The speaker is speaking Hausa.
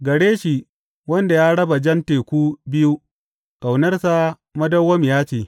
Gare shi wanda ya raba Jan Teku biyu Ƙaunarsa madawwamiya ce.